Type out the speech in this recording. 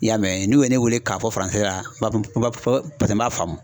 I y'a mɛn n'u ye ne wele k'a fɔ la paseke n b'a faamu